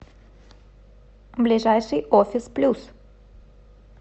ближайший офис плюс